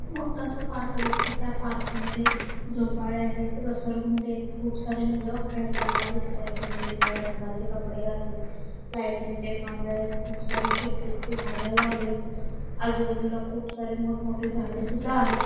खूप मोठासा पार्क दिसतंय त्या पार्क मध्ये झोपाळे आहेत घसरगुंडी आहेत खूप सारे मुले खेळताना दिसतात त्यांनी वेगवेगळ्या रंगाचे कपडे घातलेत लायटिंग चे खांबे आहेत खूप सारे शोकेस चे झाडे लागलेत आजूबाजूला खूप सारे मोठं मोठे झाडे सुद्धा आहेत.